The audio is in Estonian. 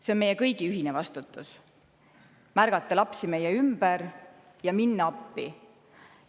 See on meie kõigi ühine vastutus: märgata lapsi meie ümber ja minna appi.